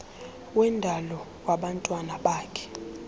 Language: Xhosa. wendalo wabantwana bakhe